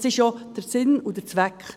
Das ist ja Sinn und Zweck.